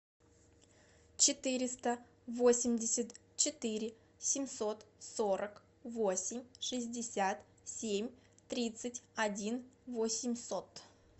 четыреста восемьдесят четыре семьсот сорок восемь шестьдесят семь тридцать один восемьсот